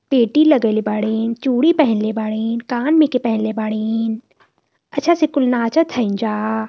पेटी लगइले बड़िनचूड़ी पहिनले बड़िनकान में के पहिनले बड़िन अच्छा से कुल नाचत हइन जा।